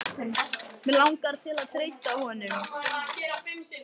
Mig langar til að treysta honum.